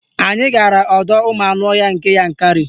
Anyị gara ọdọụmụanụọhịa nke Yankarị